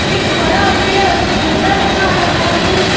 एक बड़ा पेड़ नजर आ रहा है।